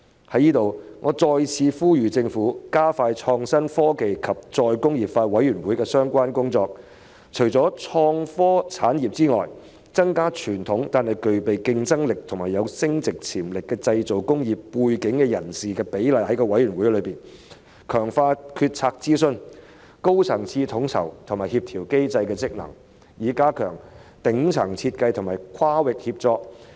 在此，我再次呼籲政府加快創新、科技及再工業化委員會的相關工作，除了創科產業外，亦要提高具備傳統但具競爭力及增值潛力的製造工業背景人士在委員會內的比例，強化決策諮詢、高層次統籌及協調機制的職能，以加強頂層設計和跨域協作。